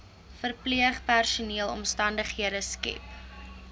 verpleegpersoneel omstandighede skep